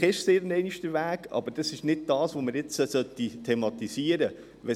Vielleicht ist es irgendeinmal der Weg, aber es ist nicht das, was wir jetzt thematisieren sollten: